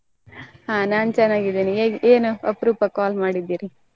ಆ ನಾನ್ ಚೆನ್ನಾಗಿದ್ದೀನಿ ಏನ್ ಅಪುರೂಪ call ಮಾಡಿದೀರಿ.